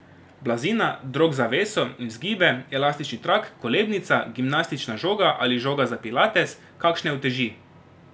Blazina, drog za veso in vzgibe, elastični trak, kolebnica, gimnastična žoga ali žoga za pilates, kakšne uteži...